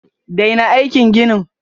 Daina aikin ginin!